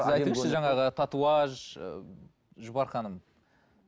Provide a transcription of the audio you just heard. сіз айтыңызшы жаңағы татуаж ы жұпар ханым